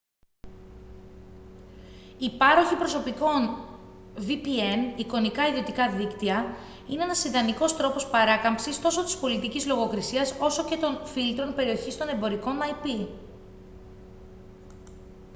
οι πάροχοι προσωπικών vpn εικονικά ιδιωτικά δίκτυα είναι ένας ιδανικός τρόπος παράκαμψης τόσο της πολιτικής λογοκρiσίας όσο και των φίλτρων περιοχής των εμπορικών ip